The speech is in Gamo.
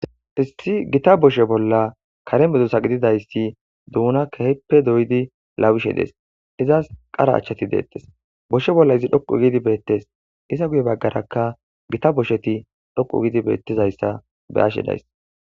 issi gita boshe bolla kare medusa gididayssi duuna keheppe doydi lawishe des izas qara achchati deettes boshe bolla izi dhoqu gidi beettes isa guye baggarakka gita bosheti dhoqu gidi beettizayssa be ashe days